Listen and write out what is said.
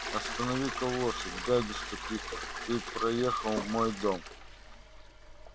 останови-ка лошадь дядюшка питер ты проехал мой дом